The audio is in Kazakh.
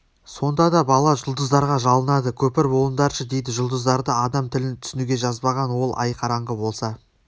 сонда бала жұлдыздарға жалынады көпір болыңдаршы дейді жұлдыздарды адам тілін түсінуге жазбаған ол ай қараңғы болса